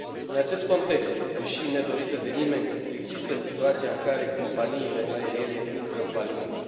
În acest context, deși nedorită de nimeni, există situația în care companiile aeriene intră în faliment.